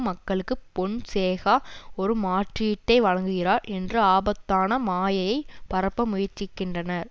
மக்களுக்கு பொன்சேகா ஒரு மாற்றீட்டை வழங்குகிறார் என்ற ஆபத்தான மாயையை பரப்ப முயற்சிக்கின்றனர்